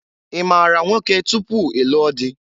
I maara nwoke tupu i lụọ dị?